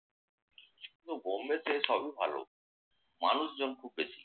কিন্তু বম্বেতে সবই ভালো। মানুষজন খুব বেশি।